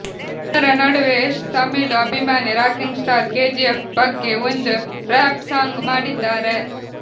ಇದರ ನಡುವೆ ಯಶ್ ತಮಿಳು ಅಭಿಮಾನಿ ರಾಕಿಂಗ್ ಸ್ಟಾರ್ ಕೆಜಿಎಫ್ ಬಗ್ಗೆ ಒಂದು ರ್ಯಾಪ್ ಸಾಂಗ್ ಮಾಡಿದ್ದಾರೆ